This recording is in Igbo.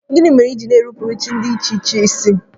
Gịnị mere i ji na-enupụrụ chi dị iche iche isi?